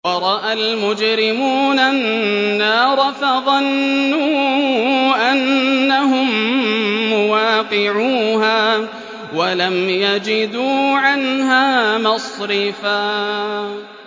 وَرَأَى الْمُجْرِمُونَ النَّارَ فَظَنُّوا أَنَّهُم مُّوَاقِعُوهَا وَلَمْ يَجِدُوا عَنْهَا مَصْرِفًا